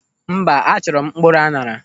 Mba, achọrọ m mkpụrụ aṅara.